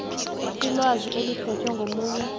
ilwazi eliphethwe ngomunye